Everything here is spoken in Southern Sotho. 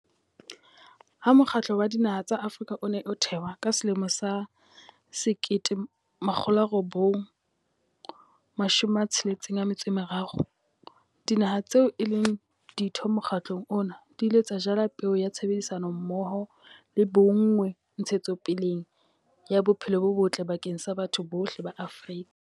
Ha Mokgatlo wa Dinaha tsa Afrika o ne o thewa ka 1963, dinaha tseo e leng ditho mokgatlong ona di ile tsa jala peo ya tshebedisano mmoho le bonngwe ntshetsopeleng ya bophelo bo botle bakeng sa batho bohle ba Afrika.